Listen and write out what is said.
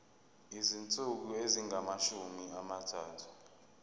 izinsuku ezingamashumi amathathu